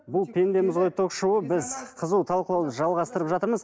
бұл пендеміз ғой ток шоуы біз қызу талқылауды жалғастырып жатырмыз